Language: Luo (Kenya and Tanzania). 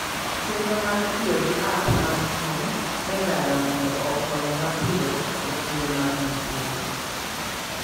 Chenro mar tiyo gi app mag kony e ndara mondo okony mapiyo e kinde mag masira.